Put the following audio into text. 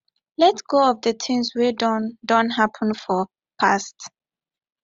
let go of di things wey don don happen for past